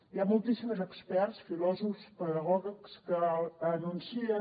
hi ha moltíssims experts filòsofs pedagogs que anuncien